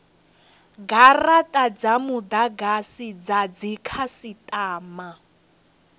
garata dza mudagasi dza dzikhasitama